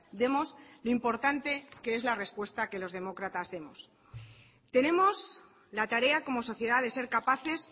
demos lo importante que es la respuesta que los demócratas demos tenemos la tarea como sociedad de ser capaces